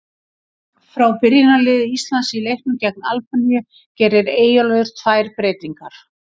Frá byrjunarliði Íslands í leiknum gegn Albaníu gerir Eyjólfur tvær breytingar.